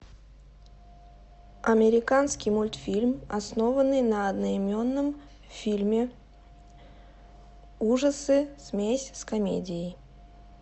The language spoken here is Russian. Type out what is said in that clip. американский мультфильм основанный на одноименном фильме ужасы смесь с комедией